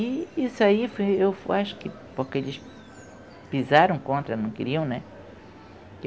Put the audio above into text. E isso aí, eu acho que porque eles pisaram contra, não queriam, né?